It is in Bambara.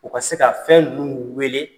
U ka se ka fɛn ninnu weele